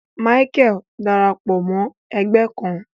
Micheal darapọ Mọ ẹgbẹ kàn